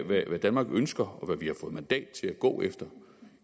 danmark ønsker og hvad vi har fået mandat til at gå efter